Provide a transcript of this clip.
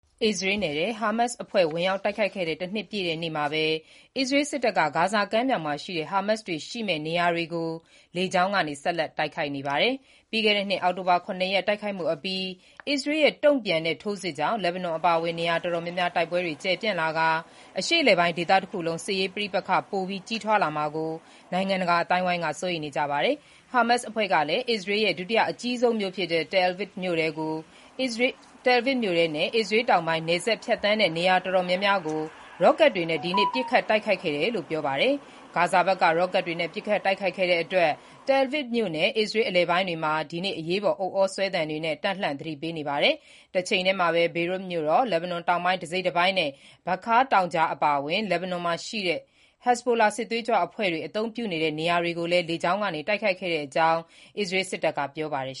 အစ္စရေးနယ်ထဲ ဟာမတ်စ်အဖွဲ့ ဝင်တိုက်ခဲ့တဲ့ တနှစ်ပြည့်နေ့မှာပဲ အစ္စရေး စစ်တပ်က ဂါဇာကမ်းမြှောင်မှာရှိတဲ့ ဟာမတ်စ်တွေရှိမယ့် နေရာတွေကို လေကြောင်းကနေ ဆက်လက် တိုက်ခိုက်နေပါတယ်။ ပြီးခဲ့တဲ့နှစ်အောက်တိုဘာလ ၇ ရက် တိုက်ခိုက်မှုအပြီး အစ္စရေးရဲ့ တုံ့ပြန် ထိုးစစ်ကြောင့် လက်ဘနွန်အပါအဝင် နေရာတော်တော်များများ တိုက်ပွဲတွေ ကျယ်ပျံ့လာပြီး အရှေ့အလယ်ပိုင်း ဒေသတခုလုံး စစ်ရေးပဋိပက္ခ ပိုပြီး ကြီးထွားလာမှာကို နိင်ငံတကာအသိုင်းအဝိုင်းက စိုးရိမ်နေကြပါတယ်။ ဟာမတ်စစ်အဖွဲ့ကလည်း အစ္စရေးနိုင်ငံ ဒုတိယအကြီးဆုံးဖြစ်တဲ့ Tel Aviv မြို့ထဲနဲ့ အစ္စရေးတောင်ပိုင်း နယ်စပ်ဖြတ်သန်းတဲ့ နေရာတော်တော်များများကို ရော့ကတ်တွေနဲ့ ဒီနေ့ ပစ်ခတ်တိုက်ခိုက်ခဲ့တယ်လို့ ပြောပါတယ်၊ ဂါဇာဘက်က ရော့ကတ်တွေနဲ့ ပစ်ခတ်တိုက်ခိုက်နေတဲ့အတွက် Tel Aviv မြို့နဲ့ အစ္စရေးအလယ်ပိုင်းတွေမှာ ဒီနေ့ အရေးပေါ် ဥဩဆွဲသံတွေနဲ့ တပ်လှန့် သတိပေးနေပါတယ်။ တချိန်တည်းမှာ Beirut မြို့တော်၊ လက်ဘနွန်တောင်ပိုင်း တစိတ်တပိုင်းနဲ့၊ Bekaa တောင်ကြားအပါအဝင် လက်ဘနွန်မှာရှိတဲ့ ဟက်ဇ်ဘိုလာ စစ်သွေးကြွအဖွဲ့တွေ အသုံးပြုနေတဲ့ နေရာတွေကိုလည်း လေကြောင်းကနေ တိုက်ခိုက်ခဲ့တဲ့အကြောင်း အစ္စရေး စစ်တပ်က ပြောပါတယ်